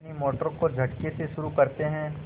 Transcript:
अपनी मोटर को झटके से शुरू करते हैं